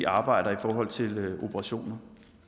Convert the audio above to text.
arbejder i forhold til operationer